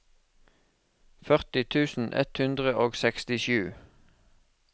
førti tusen ett hundre og sekstisju